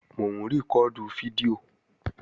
Mò ń rìkọ́ọ̀dù fídíò